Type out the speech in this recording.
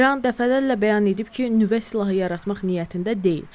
İran dəfələrlə bəyan edib ki, nüvə silahı yaratmaq niyyətində deyil.